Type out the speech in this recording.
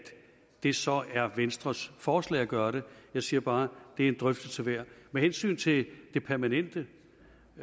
det så er venstres forslag at gøre det jeg siger bare det er en drøftelse værd med hensyn til det permanente